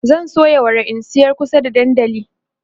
zan soya wara in sayar kusa da dandali